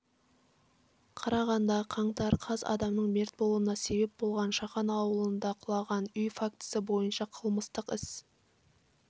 қарағанды қаңтар қаз адамның мерт болуына себеп болған шахан ауылында құлаған үй фактісі бойынша қылмыстық іс